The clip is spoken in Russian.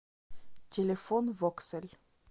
телефон воксель